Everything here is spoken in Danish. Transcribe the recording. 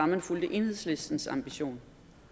man fulgte enhedslistens ambition